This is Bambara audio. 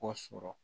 Ko sɔrɔ